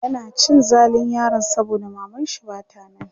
yana cin zalin yaron saboda mamanshi Bata nan